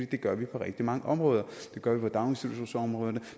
det gør vi på rigtig mange områder det gør vi på daginstitutionsområdet